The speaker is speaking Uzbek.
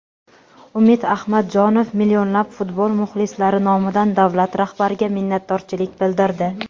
Umid Ahmadjonov millionlab futbol muxlislari nomidan davlat rahbariga minnatdorchilik bildirdi.